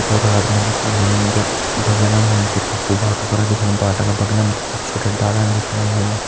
Photo रात मा जी की ली नी छ बगल मा हम तैं पक्कु बाटु करन दिखेणु बाटा का बगल में हम तैं छोटा छोटा डाला दिखेण लग्यां।